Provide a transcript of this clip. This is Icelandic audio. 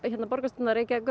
borgarstjórnar Reykjavíkur